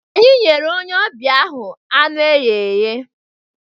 Anyị nyere onye ọbịa ahụ anụ eghe eghe